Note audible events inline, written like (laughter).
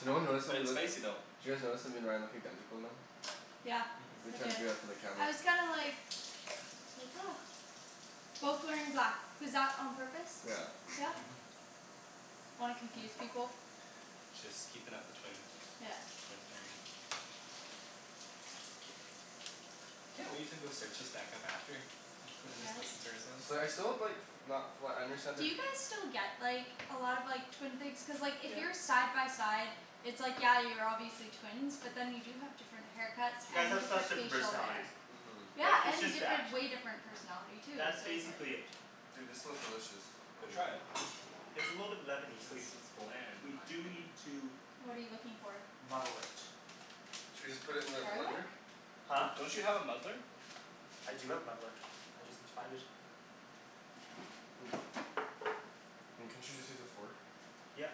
So no one realized that But we it's look. Did spicy though. you guys notice that me and Ryan look identical now? Yeah We I Mhm. tried to did. do that for the camera. I was kinda like Like (noise) Both wearing black. Was that on purpose? Yeah. Yeah? Mhm. Wanna confuse people? Just keepin' up the twin Yeah. Twin thing. I can't wait to go search us back up after (laughs) and just Yes. listen to ourselves. So like I still have like not flat understand Do their you guys still get like a lot of like twin things? Cuz like if Yeah. you're side by side it's like, yeah you're obviously twins, but then you do have different haircuts You guys and have such different different facial personalities. hair. Mhm. Yeah, Like, it's and just that different, way different personality too, That's so it's like basically it. Dude, this smells delicious No, try it. (noise) (laughs) It's a little bit lemony, so we It's it's bland in We my do opinion. need to What are you looking for? muddle it. Should we just put it in the blender? Garlic? D- Huh? don't you have a muddler? I do have a muddler. I just need to find it I mean, couldn't you just use a fork? Yep.